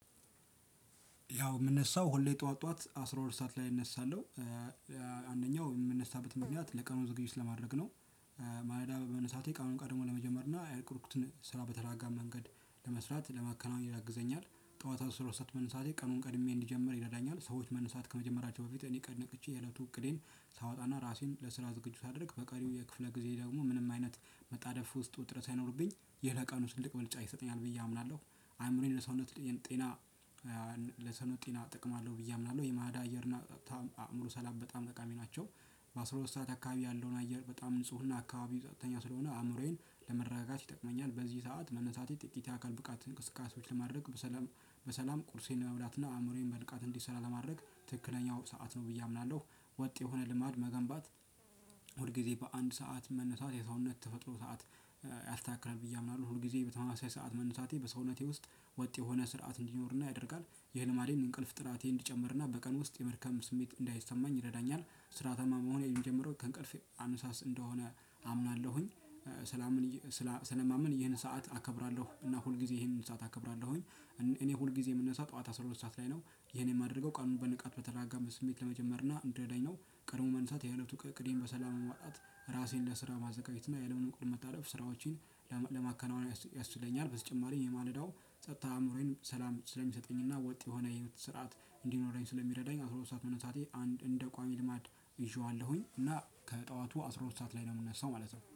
ያው የምነሳው ሁሌ ጠዋት ጠዋት አስራ ሁለት ሰዓት ላይ እነሳለሁ። አንደኛው የምንነሳበት ምክንያት ለቀኑ ዝግጅት ለማድረግ ነው። ማለዳ በመነሳቴ ቀኑን ቀድሞ ለመጀመር እና ያቀድኩትን ስራ በተረጋጋ መንገድ ለመስራት ለማከናወን ያግዘኛል። ጠዋት አብሶ ሁለት ሰዓት መንሳቴ ቀኑን ቀድሜ እንድጀምር ይረዳኛል። ሰዎች መነሳት ከመጀመራቸው በፊት እኔ ቀድሜ ነቅቼ የእለቱ እቅዴን ሳወጣና ራሴን ለስራ ዝግጁ ሳደርግ በቀሪው የክፍለ ጊዜ ደግሞ ምንም አይነት መጣደፍ ውስጥ ውጥረት ሳይኖርብኝ ይሄ ለቀኑ ትልቅ ብልጫ ይሰጠኛል ብዬ አምናለሁ። አይምሮዬን ለሰውነት ጤና። ለሰውነት ጤና ጥቅም አለው ብዬ አምናለሁ የማለዳ አየር እና አእምሮ ሰላም በጣም ተቃሚ ናቸው። በአስራ ሁለት ሰዓት አካባቢ ያለውን አየር በጣም ንጹህ እና አካባቢ ጸትተኛ ስለሆነ አእምሮዬን ለመረጋጋት ይጠቅመኛል። በዚህ ሰዓት መነሳቴ ጥቂት የአካል ብቃት እንቅስቃሴዎችን ለማድረግ በሰላም በሰላም ቁርሴን ለመብላትና አእምሮዬን በንቃት እንዲሰራ ለማድረግ ትክክለኛው ሰዓት ነው ብዬ አምናለሁ። ወጥ የሆነ ልማድ መገንባት ሁል ጊዜ በአንድ ሰዓት መነሳት የሰውነት ተፈጥሮ ሰዓት ያስተካክላል ብዬ አምናለሁ። ሁል ጊዜ በተመሳሳይ ሰዓት መነሳቴ በሰውነቴ ውስጥ ወጥ የሆነ ስርዓት እንዲኖርና ያደርጋል። ይህን ማድረግ እንቅልፍ ጥራቴን እንዲጨምርና በቀን ውስጥ የመድከም ስሜት እንዳይሰማኝ ይረዳኛል። ስራታማ መሆኔን የምጀምረው ከእንቅልፍ አንሳስ እንደሆነ አምናለሁኝ። ስለማመን ይሄንን ሰዓት አከብራለሁ እና ሁል ጊዜ ይሄንን ሰዓት አከብራለሁኝ። እኔ ሁል ጊዜ የምንነሳ ጠዋት አስራ ሁለት ሰዓት ላይ ነው። ይሄን የማደርገው ቀኑን በንቃት በተረጋጋ ስሜት ለመጀመር እና እንዲረዳኝ ነው። ቀድሞ መንሳት የህይወቱ ከእቅዴን በሰላም ማጣት ራሴን ለስራ ማዘጋጀት እና የለም እንቅል መታለፍ ስራዎችን ለማከናወን ያስተምረኛል። በስተጨማሪ የማለዳው ጸጥታ አእምሮዬን ሰላም ስለሚሰጠኝና ወጥ የሆነ የህይወት ስርዓት እንዲኖረኝ ስለሚረዳኝ። አስራ ሶስት ሰዓት መነሳቴ አንድ እንደ ቋሚ ልማድ ይዠዋለሁኝ እና ከጠዋቱ አስራ ሁለት ሰዓት ላይ ነው የምንነሳው ማለት ነው